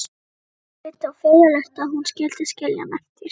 Margréti og furðulegt að hún skyldi skilja hann eftir.